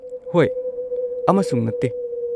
ꯍꯣꯏ ꯑꯃꯁꯨꯡ ꯅꯠꯇꯦ!